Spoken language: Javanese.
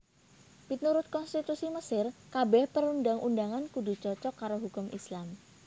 Miturut konstitusi Mesir kabèh perundang undangan kudu cocok karo hukum Islam